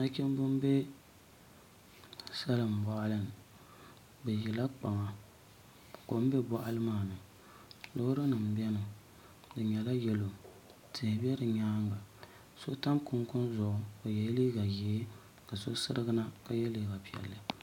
Nachimbi n bɛ salin boɣali ni bi ʒila kpaŋa kom bɛ boɣali maa ni loori nim n biɛni ŋo di nyɛla yɛlo tihi bɛ di nyaanga so tam kunkun zuɣu o yɛla liiga ʒiɛ ka so sirigi na ka yɛ liiga piɛlli